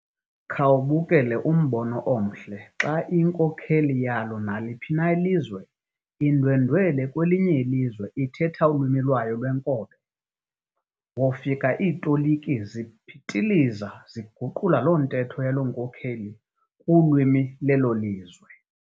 Khawubukele umbono omhle xa inkokheli yalo naliphi ilizwe indwendwele kwelinye ilizwe ithetha ulwimi lwayo lwenkobe. Wofika iitoliki zipitiliza ziguqula loo ntetho yaloo nkokheli kulwimi lelo lizwe .